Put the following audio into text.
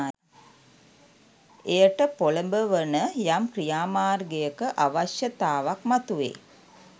එයට පොලඹවන යම් ක්‍රියා මාර්ගයක අවශ්‍යතාවක් මතුවෙයි.